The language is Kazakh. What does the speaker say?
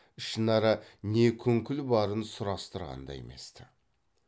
ішінара не күңкіл барын сұрастырған да емес ті